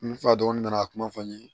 N fa dɔn n nana kuma fɔ n ye